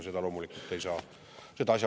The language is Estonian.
Seda loomulikult ei saa.